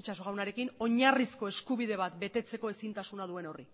itxaso jaunarekin oinarrizko eskubide bat betetzeko ezintasuna duen horri